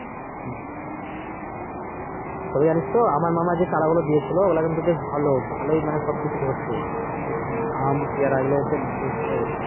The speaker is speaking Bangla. তবে জানিস তো আমার মামা যে চারাগুলো দিয়েছিল ওগুলো বেশ ভালো ভালো সবকিছু ধরছে। আম পেয়ারা এইগুলো সে বেশ ভালোই হচ্ছে।